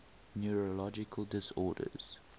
neurological disorders